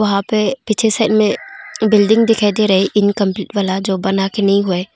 वहां पे पीछे साइड में बिल्डिंग दिखाई दे रही इनकंप्लीट वाला जो बना के नहीं हुआ है।